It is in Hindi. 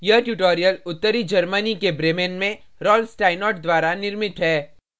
यह ट्यूटोरियल उत्तरी germany के bremen में rolf steinort द्वारा निर्मित है